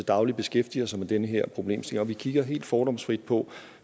daglig beskæftiger sig med den her problemstilling og vi kigger helt fordomsfrit på